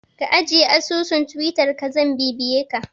Ka ajiye asusun Twittar ka zan bibiye ka